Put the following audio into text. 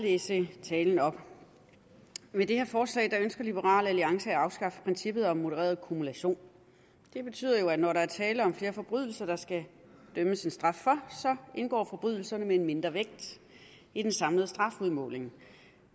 læse talen op med det her forslag ønsker liberal alliance at afskaffe princippet om modereret kumulation det betyder jo at når der er tale om flere forbrydelser der skal dømmes en straf for så indgår forbrydelserne med en mindre vægt i den samlede strafudmåling